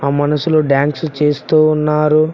ఆ మనుషులు డాన్స్ చేస్తూ ఉన్నారు.